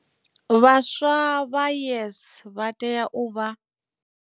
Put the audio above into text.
Vhaswa vha YES vha tea u vha.